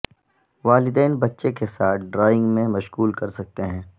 والدین بچے کے ساتھ ڈرائنگ میں مشغول کر سکتے ہیں